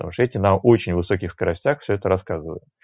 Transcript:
потому что эти на очень высоких скоростях все это рассказываю